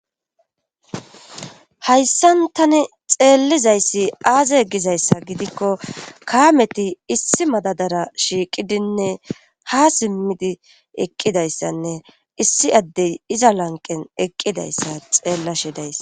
Hayssan tani xeellizayssi aaze gizayssa gidikko kaameti issi madadara shiiqidinne ha simmidi eqqidayssanne issi addey iza lanqen eqqidayssa xeellashi dayssa.